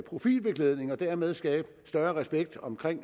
profilbeklædning og dermed skabe større respekt om